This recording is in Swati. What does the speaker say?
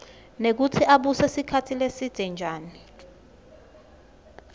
nekutsi ubuse sikhatsi lesidze njani